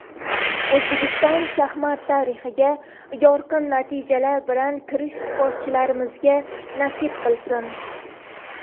O‘zbekiston shaxmat tarixiga yorqin natijalar bilan kirish sportchilarimizga nasib qilsin.